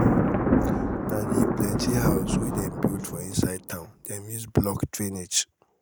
na di plenty houses wey dem build for inside town dem use block drainage.